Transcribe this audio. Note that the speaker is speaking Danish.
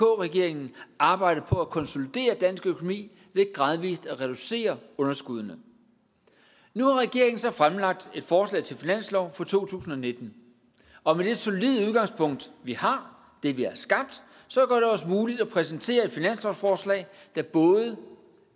regeringen arbejdet på at konsolidere dansk økonomi ved gradvis at reducere underskuddene nu har regeringen så fremlagt et forslag til finanslov for to tusind og nitten og det solide udgangspunkt vi har det vi har skabt gør det også muligt at præsentere et finanslovsforslag der både